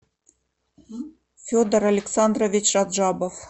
федор александрович раджабов